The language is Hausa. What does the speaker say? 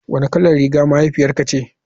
Wanne kalar riga mahaifiyarka ce.